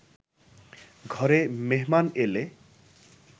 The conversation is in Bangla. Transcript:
ঘরে মেহমান এলে